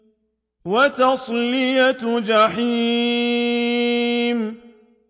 وَتَصْلِيَةُ جَحِيمٍ